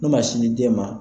Minnu ma sin di den ma.